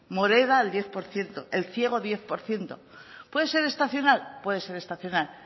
moreda el diez por ciento elciego diez por ciento puede ser estacional puede ser estacional